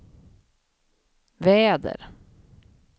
väder